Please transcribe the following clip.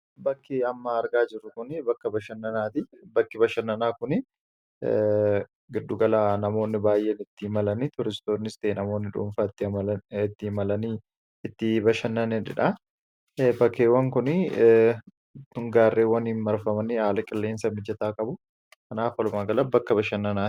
bakki ammaa argaa jiru kun bakka bakki bashannanaa kun giddu gala namoonni baay'een itti imalanii turistoonnis ta'e namoonni dhuunfaa itti imalanii itti bashannaniidha. bakkeewwan kun gaarreewwaniin marfamanii haala qilleensa mijataa qabu kanaaf halumaa gala bakka bashannanaa.